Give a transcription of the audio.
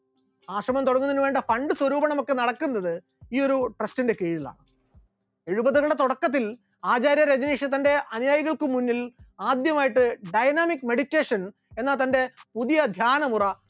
ആശ്രമം തുടങ്ങുന്നതിന് വേണ്ട fund സ്വരൂപണം ഒക്കെ നടക്കുന്നത് ഈ ഒരു trust ന്റെ കീഴിലാണ്, എഴുപതുകളുടെ തുടക്കത്തിൽ ആചാര്യ രജനീഷ് തന്റെ അനുയായികൾക്ക് മുന്നിൽ ആദ്യമായിട്ട് dynamic meditation എന്ന തന്റെ പുതിയ ധ്യാനമുറ